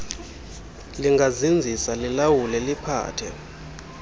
lingazinzisa lilawule liphathe